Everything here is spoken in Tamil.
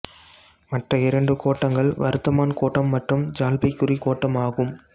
மற்ற இரண்டு கோட்டங்கள் வர்தமான் கோட்டம் மற்றும் ஜல்பைகுரி கோட்டம் ஆகும்